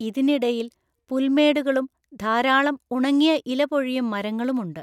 ഇതിന് ഇടയിൽ പുൽമേടുകളും ധാരാളം ഉണങ്ങിയ ഇലപൊഴിയും മരങ്ങളും ഉണ്ട്.